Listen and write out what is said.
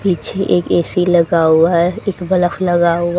पीछे एक ए_सी लगा हुआ है एक बल्ब लगा हुआ है।